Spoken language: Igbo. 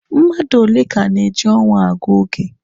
Mmadụ ole ka na-eji ọnwa agụ oge?